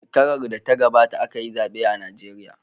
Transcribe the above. Shekarar da ta gabata aka yi zaɓe a Najeriya.